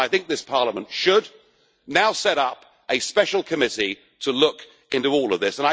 And I think this Parliament should now set up a special committee to look into all of this.